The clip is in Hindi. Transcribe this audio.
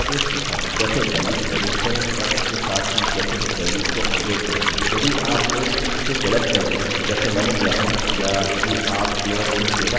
अच्छा तो अगले भाग में मुझसे मिलिए यह जानने के लिए कि कैसे अपने डेटाबेसेस से सूचना प्राप्त करें और डेटा प्रयोगकर्ता के समक्ष दर्शाएँ